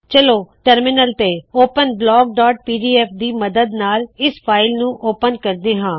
ਚਲੋ ਟਰਮਿਨਲ ਤੋ ਓਪਨ blockਪੀਡੀਐਫ ਦੀ ਮੱਦਦ ਨਾਲ ਇਸ ਫਾਇਲ ਨੂੰ ਓਪਨ ਕਰਦੇ ਹਾ